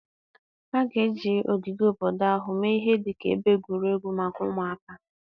A ga-eji ogige obodo ahụ mee ihe dị ka ebe egwuregwu maka ụmụaka.